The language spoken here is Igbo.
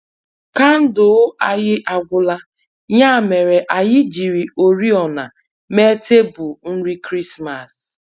Kandụl anyi agwụla, ya mere anyị jiri oriọna mee tebụl nri Krismas